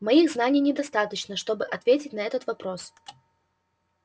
моих знаний недостаточно чтобы ответить на этот вопрос